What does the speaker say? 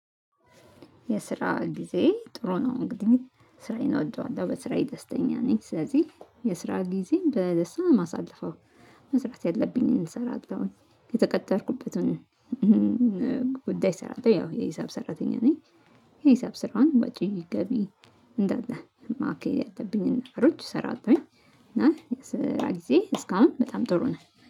የስራ ጊዜዬ ጥሩ ነው። እንግዲህ ስራዬን እወደዋለሁ። በስራዬ ደስተኛ ነኝ። ስለዚህ የስራ ጊዜዬን በደስታ ነው ማሳለፈው። መስራት ያለብኝን እሰራለሁ። የተቀጠርኩበትን ጉዳይ ሰራለሁ። ያው የሂሳብ ሰራተኛ ነኝ። የሂሳብ ስራውን ወጪ ገቢ እንዳለ ማካሄድ ያሉብኝን ነገሮች ሰራለሁኝ። እና የስራ ጊዜ እስካሁን በጣም ጥሩ ነው።